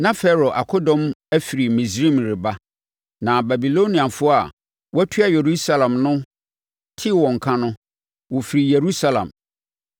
Na Farao akodɔm afiri Misraim reba, na Babiloniafoɔ a wɔatua Yerusalem no tee wɔn nka no, wɔfirii Yerusalem.